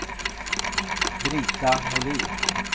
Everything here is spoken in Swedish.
Brita Molin